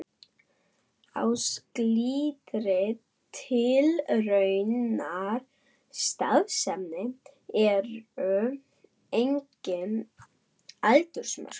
Á slíkri tilraunastarfsemi eru engin aldursmörk.